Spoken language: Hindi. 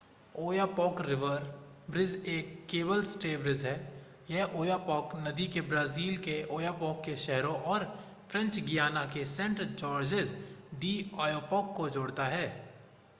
ओयापॉक रिवर ब्रिज एक केबल स्टे ब्रिज है यह ओयापॉक नदी को ब्राज़ील के ओयापॉक के शहरों और फ़्रेंच गियाना के सेंट-जॉर्जेज डि ओयापॉक को जोड़ता है